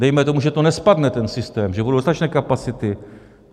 Dejme tomu, že to nespadne, ten systém, že budou dostatečné kapacity.